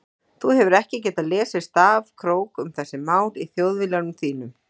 Þú hefur ekki getað lesið stafkrók um þessi mál í Þjóðviljanum þínum.